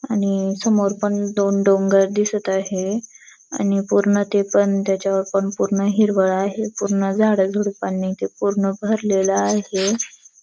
आणि समोर पण दोन डोंगर दिसत आहे. आणि पूर्ण ते पण त्याच्यावर पण पूर्ण हिरवळ आहे. पूर्ण झाडाझुडपांनी ते पूर्ण भरलेलं आहे.